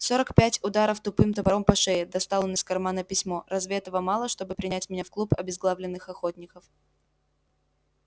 сорок пять ударов тупым топором по шее достал он из кармана письмо разве этого мало чтобы принять меня в клуб обезглавленных охотников